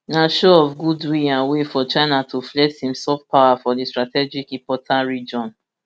na show of goodwill and way for china to flex im soft power for di strategic important region